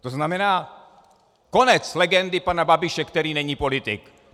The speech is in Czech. To znamená konec legendy pana Babiše, který není politik.